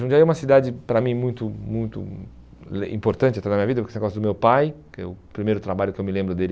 Jundiaí é uma cidade, para mim, muito muito importante até na minha vida, por causa desse negócio do meu pai, que é o primeiro trabalho que eu me lembro dele...